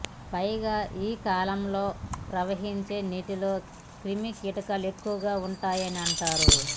పైగా ఈ కాలంలో ప్రవహించే నీటిలో క్రిమికీటకాలు ఎక్కువగా ఉంటాయని అంటారు